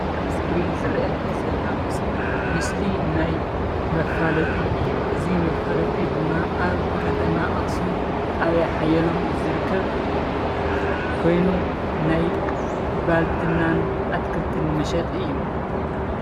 እዚ ኣብ እስክሪን ዝርአየኒ ዘሎ ምስሊ ምስሊ ናይ መፋለጢ እዩ፡፡ እዚ መፋለጢ ድማ ኣብ ከተማ ኣኽሱም ጣብያ ሓየሎም ዝርከብ ኮይኑ ናይ ባልትናን ኣትክልትን መሸጢ እዩ፡፡